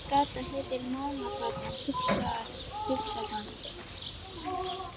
Þessi gata heitir Mánagata, hugsar hann.